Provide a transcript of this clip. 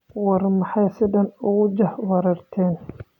War maxaa sidhan okujax warerteyn?